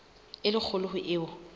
e le kgolo ho eo